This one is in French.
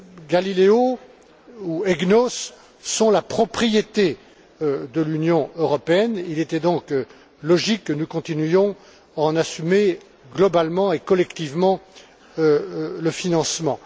GALILEO ou EGNOS sont la propriété de l'Union européenne, il était donc logique que nous continuions à en assumer globalement et collectivement le financement.